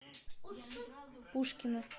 пушкино